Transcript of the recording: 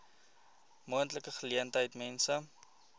moontlike geleentheid mense